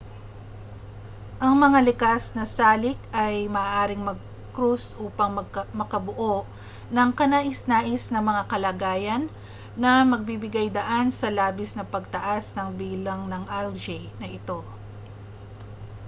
ang mga likas na salik ay maaaring magkrus upang makabuo ng kanais-nais na mga kalagayan na magbibigay-daan sa labis na pagtaas ng bilang ng algae na ito